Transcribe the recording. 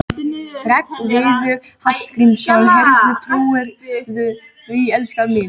Hreggviður Hallgrímsson: Heyrðu, trúirðu því, elskan mín?